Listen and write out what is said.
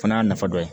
Fana y'a nafa dɔ ye